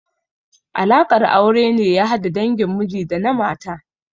Alaƙar aure ne ya hada dangin miji da na mata.